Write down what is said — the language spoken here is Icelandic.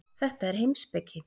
Þetta er heimspeki.